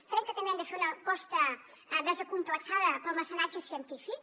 crec que també hem de fer una aposta desacomplexada pel mecenatge científic